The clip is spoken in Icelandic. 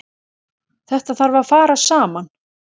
Þetta þarf að fara saman.